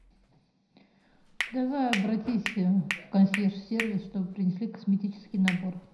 давай обратись в консьерж сервис чтобы принесли косметический набор